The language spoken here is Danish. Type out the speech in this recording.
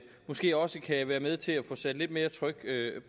måske også kan være med til at få sat lidt mere tryk